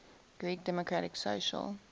greek democratic social